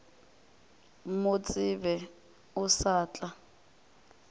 mo tsebe o sa tla